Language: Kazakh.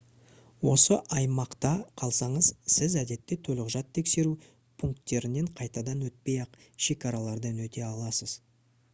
осы аймақта қалсаңыз сіз әдетте төлқұжат тексеру пункттерінен қайтадан өтпей-ақ шекаралардан өте аласыз